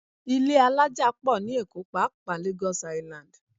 Ilé alájà pọ̀ ní Èkó pàápàá Lagos Island